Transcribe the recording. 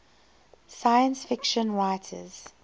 science fiction writers